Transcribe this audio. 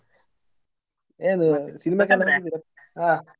ಏನು cinema ಕ್ಕೆಲ್ಲಾ ಹಾ?